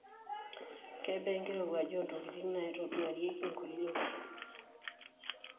Kebaa enkirowuaj oo ntokitin naaitoduaarieki nkulie.